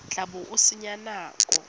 tla bo o senya nako